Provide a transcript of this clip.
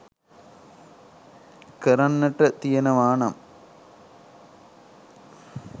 කරන්නට තියෙනවා නම්